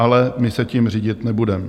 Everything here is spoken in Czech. Ale my se tím řídit nebudeme.